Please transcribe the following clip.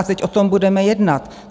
A teď o tom budeme jednat.